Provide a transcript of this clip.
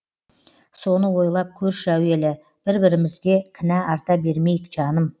соны ойлап көрші әуелі бір бірімізге кінә арта бермейік жаным